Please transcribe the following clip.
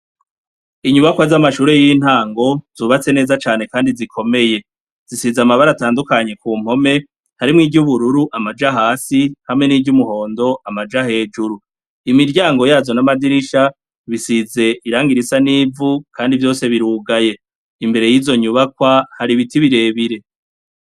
Inyubakwa z'amashure y'intango zubatse neza cane, kandi zikomeye zisize amabara atandukanyi ku mpome harimwo iryo ubururu amaja hasi hamwe n'iryo umuhondo amaja hejuru imiryango yazo n'amadirisha bisize irangairisa n'ivu, kandi vyose birugaye imbere y'izo nyubakwa hari ibiti birebe